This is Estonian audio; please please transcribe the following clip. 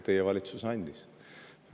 Teie valitsus andis.